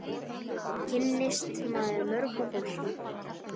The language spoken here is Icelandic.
Svo kynnist maður mörgu fólki.